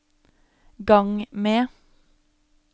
gang med